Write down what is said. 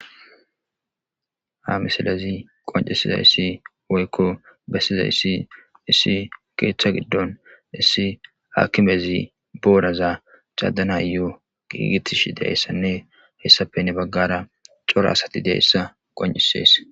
ha misalezi qoncisizayssi woykko bessizayssi issi keeththa giddon issi akimezi booraza cadanayoo giigitishi dayssanne hessappenne baggara cora asati deeyssa qonisees